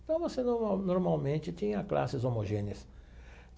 Então, você normal normalmente tinha classes homogêneas.